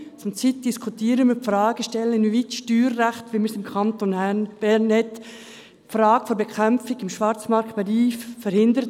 Zurzeit diskutieren wir die Fragestellung, inwieweit das Steuerrecht im Kanton Bern die Frage der Bekämpfung im Schwarzmarktbereich verhindert.